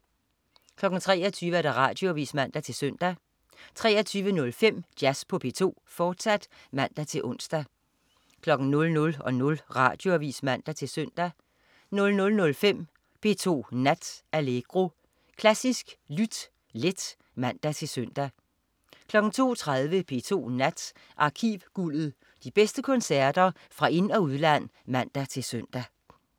23.00 Radioavis (man-søn) 23.05 Jazz på P2, fortsat (man-ons) 00.00 Radioavis (man-søn) 00.05 P2 Nat. Allegro. Klassisk lyt let (man-søn) 02.30 P2 Nat. Arkivguldet. De bedste koncerter fra ind- og udland (man-søn)